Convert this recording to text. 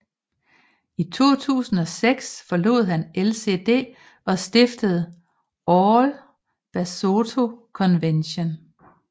I 2006 forlod han LCD og stiftede All Basotho Convention